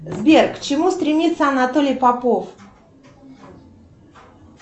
сбер к чему стремится анатолий попов